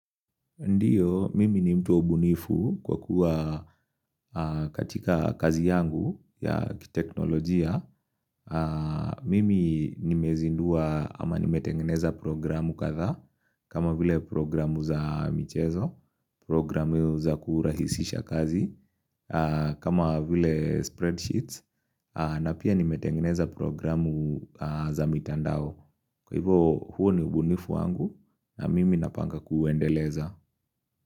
Ndiyo, mimi ni mtu ubunifu kwa kuwa katika kazi yangu ya kiteknolojia. Mimi nimezindua ama nimetengeneza programu katha kama vile programu za mchezo, programu za kuhurahisisha kazi, kama vile spreadsheets na pia nimetengeneza programu za mitandao. Kwa hivo huo ni ubunifu wangu na mimi napanga kuendeleza.